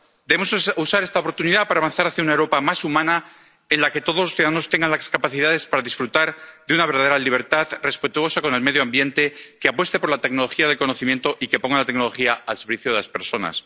Debemos usar esta oportunidad para avanzar hacia una Europa más humana, en la que todos los ciudadanos tengan las capacidades para disfrutar de una verdadera libertad respetuosa con el medio ambiente, que apueste por la tecnología del conocimiento y que ponga la tecnología al servicio de las personas.